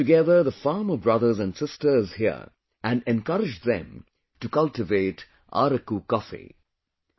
It brought together the farmer brothers and sisters here and encouraged them to cultivate Araku coffee